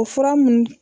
O fura mun